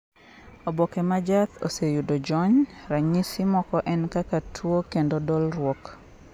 oboke m jaath oseyudo jony, ranyisi moko en kaka tuo kendo dolruok